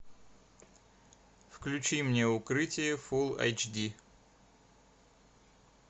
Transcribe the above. включи мне укрытие фул эйч ди